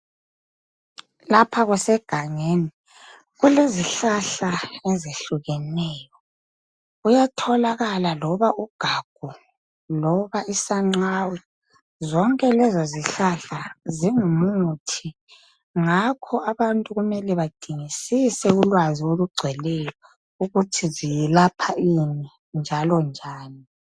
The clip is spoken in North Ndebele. Lapha kusegangeni, kulezihlahla ezehlukeneyo kuyatholakala loba ugagu loba isancawe. Zonke lezizihlahla zingumuthi ngakho abantu kumele badingisise ulwazi olugcweleyo ukuthi ziyelapha ini njalo njani.